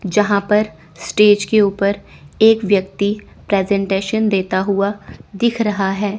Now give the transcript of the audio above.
जहां पर स्टेज के ऊपर एक व्यक्ति प्रेजेंटेशन देता हुआ दिख रहा है।